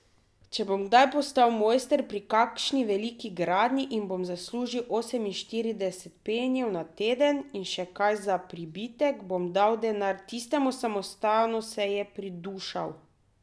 Če bom kdaj postal mojster pri kakšni veliki gradnji in bom zaslužil oseminštirideset penijev na teden in še kaj za pribitek, bom dal denar tistemu samostanu, se je pridušal.